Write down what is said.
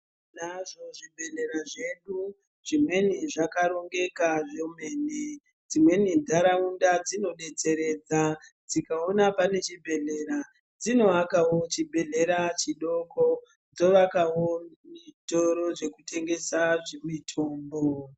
Tinazvo zvibhedhlera zvedu chimweni zvakarongeka zvemene dzimweni ntaraunda dzinodetseredza dzikaona pane chibhedhlera dzinoakawo chibhedhlera chidoko dzovakawo mitoro zvekutengesa mitombo.